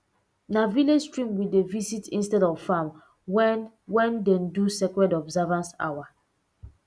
na village stream we dey visit instead of farm when wen dey do sacred observance hour